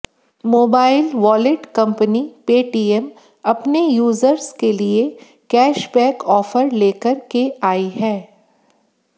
mobile wallet company Paytm अपने users के लिए कैशबैक ऑफर लेकर के आई है